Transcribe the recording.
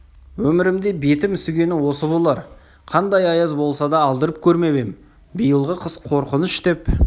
өмірімде бетім үсігені осы болар қандай аяз болса да алдырып көрмеп ем биылғы қыс қорқыныш деп